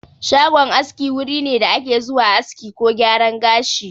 Shagon aski wuri ne da ake zuwa aski ko gyaran gashi.